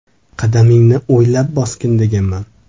Qadamingni o‘ylab bosgin deganman.